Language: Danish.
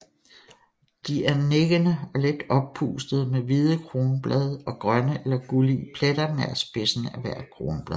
De er nikkende og lidt oppustede med hvide kronblade og grønne eller gullige pletter nær spidsen af hvert kronblad